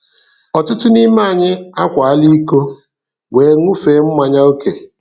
Ọtụtụ n'ime anyị akwaala ìkó wee ṅụfee mmanya ókè.